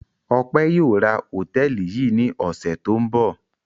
Ọpẹ́ yóò ra hòtẹ́ẹ́lì yìí ní ọ̀sẹ̀ tó ń bọ̀.